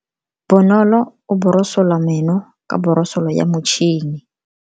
Bonolo o borosola meno ka borosolo ya motšhine.